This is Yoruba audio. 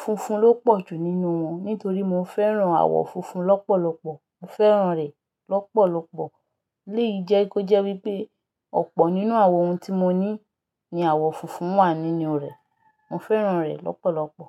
funfun ló pọ̀ jù nínú wọn nítorí mo fẹ́ràn àwọ funfun lọ́pọ̀lọpọ̀. Mo fẹ́ràn rẹ̀ lọ́pọ̀lọpọ̀. Eléyìí jẹ́ kó jẹ́ wípé ọ̀pọ̀ nínú àwọn ohun tí mo ní ni àwọ̀ funfun wà nínú rẹ̀. Mo fẹ́ràn rẹ̀ lọ́pọ̀lọpọ̀.